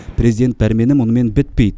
президент пәрмені мұнымен бітпейді